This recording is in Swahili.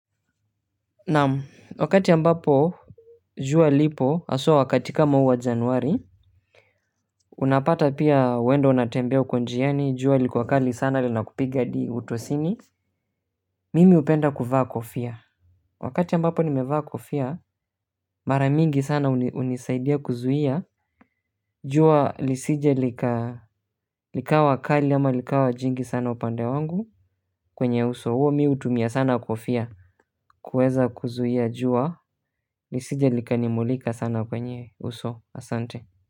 Naam, wakati ambapo jua lipo hasa wakati kama huu wa Januari. Unapata pia wewe ndiyo unatembea huko njiani, jua liko kali sana linakupiga hadi utosini. Mimi hupenda kuvaa kofia wakati ambapo nimevaa kofia, mara mingi sana hunisaidia kuzuia jua lisije likawa kali, ama likawa kali, ama likawa jingi sana upande wangu. Kwenye uso huo mimi hutumia sana kofia kuweza kuzuia jua lisije likanimulika sana kwenye uso. Asante.